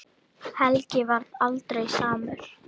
Helgi varð aldrei samur.